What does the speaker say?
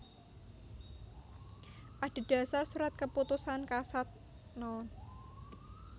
Adhedhasar Surat Keputusan Kasad No